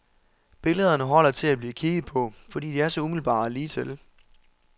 Billederne holder til at blive kigget på, fordi de er så umiddelbare og lige til.